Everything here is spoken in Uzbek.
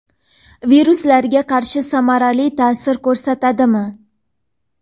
Viruslarga qarshi samarali taʼsir ko‘rsatadimi?.